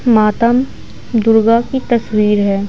मातम दुर्गा की तस्वीर है।